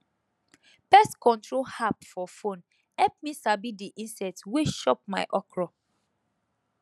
pest control app for phone help me sabi di insect wey chop my okra